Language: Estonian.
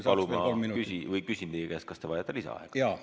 Ma küsin teie käest, kas te vajate lisaaega.